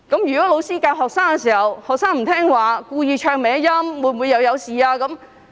如果老師教導學生時，學生不聽話，故意走音，那會否出事呢？